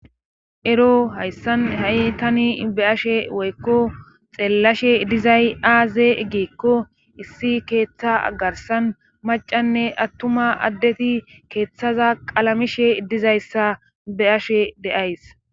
ero hayssan ha7i tani be ashe woykko xeellashe dizay aaze geekko issi keeththa agarsan macanne attuma addeti keeththaza qalamishe dizayssa be7ashe deays